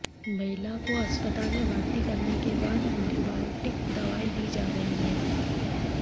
महिला को अस्पताल में भर्ती करने के बाद एंटी बॉयोटिक दवाएं दीं जा रहीं हैं